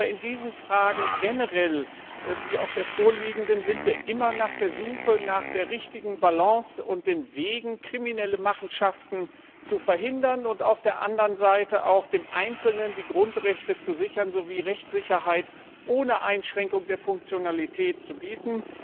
In Fragen wie diesen sind wir jedoch generell immer auf der Suche nach der richtigen Balance und den Wegen, kriminelle Machenschaften zu verhindern und auf der anderen Seite auch dem Einzelnen die Grundrechte zu sichern sowie Rechtssicherheit ohne Einschränkung der Funktionalität zu bieten.